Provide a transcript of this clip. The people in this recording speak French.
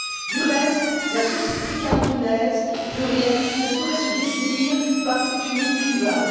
Du reste, la société camerounaise plurielle ne saurait se définir par cet unique clivage.